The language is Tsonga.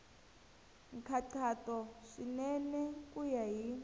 nkhaqato swinene ku ya hi